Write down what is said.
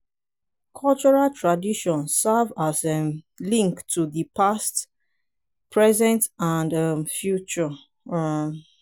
cultural tradition serve as um link to di past present and um future um